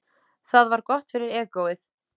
Það var gott fyrir egóið.